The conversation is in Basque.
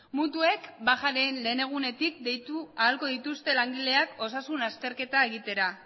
mutuek bajaren lehen egunetik deitu ahal izango dituzte langileak osasun azterketa egitera